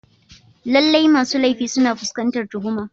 Lallai masu laifi suna fuskantar tuhuma.